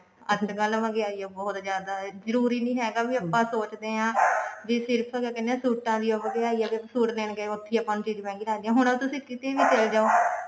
ਅੱਜਕਲ ਮਹਿੰਗਿਆਈ ਓ ਬਹੁਤ ਜਿਆਦਾ ਜਰੂਰੀ ਨੀ ਹੈਗਾ ਵੀ ਆਪਾਂ ਸੋਚਦੇ ਹਾਂ ਵੀ ਸਿਰਫ ਅਸੀਂ ਕਹਿਨੇ ਆ ਸੂਟਾ ਦੀ ਓ ਮਹਿੰਗਿਆਈ ਐ ਵੀ ਅਸੀਂ suit ਲੈਣ ਗਏ ਉੱਥੇ ਹੀ ਆਪਾਂ ਨੂੰ ਚੀਜ਼ ਮਹਿੰਗੀ ਲੱਗਦੀ ਐ ਹੁਣ ਉਹ ਤੁਸੀਂ ਕਿਤੇ ਵੀ ਚਲੇ ਜਾਉ